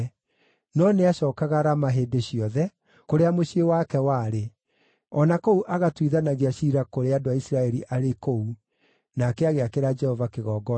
No nĩacookaga Rama hĩndĩ ciothe, kũrĩa mũciĩ wake warĩ, o na kũu agatuithanagia ciira kũrĩ andũ a Isiraeli arĩ kũu. Nake agĩakĩra Jehova kĩgongona kũu.